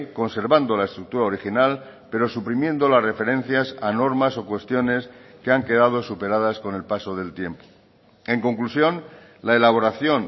conservando la estructura original pero suprimiendo las referencias a normas o cuestiones que han quedado superadas con el paso del tiempo en conclusión la elaboración